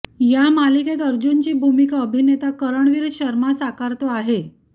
या मालिकेत अर्जुनची भूमिका अभिनेता करणवीर शर्मा साकारतो आहे